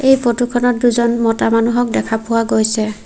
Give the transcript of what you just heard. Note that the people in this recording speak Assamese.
এই ফটো খনত দুজন মতা মানু্হক দেখা পোৱা গৈছে।